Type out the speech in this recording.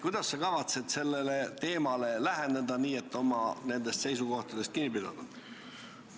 Kuidas sa kavatsed sellele teemale läheneda, nii et sa saaksid oma nendest seisukohtadest kinni pidada?